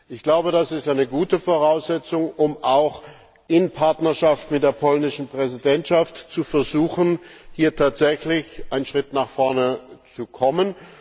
Ich glaube, das ist eine gute Voraussetzung, um auch in Partnerschaft mit der polnischen Präsidentschaft zu versuchen, hier tatsächlich einen Schritt nach vorne zu kommen.